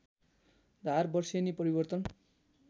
धार वर्षेनी परिवर्तन